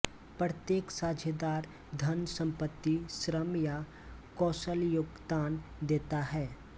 प्रत्येक साझेदार धन संपत्ति श्रम या कौशल योगदान देता है